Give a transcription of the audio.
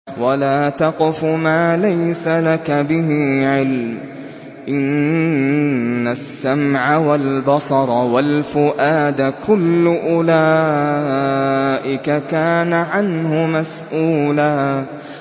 وَلَا تَقْفُ مَا لَيْسَ لَكَ بِهِ عِلْمٌ ۚ إِنَّ السَّمْعَ وَالْبَصَرَ وَالْفُؤَادَ كُلُّ أُولَٰئِكَ كَانَ عَنْهُ مَسْئُولًا